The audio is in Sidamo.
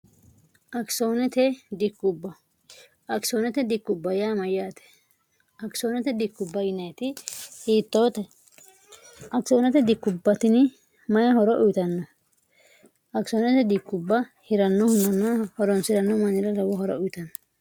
kiodkiooduma yaate kisooedui hiittoote akisoonote dikkubbatini mayi horo uyitanno akisoonete dikkubba hirannohu manna horonsi'ranno manira lawo horo uyitanno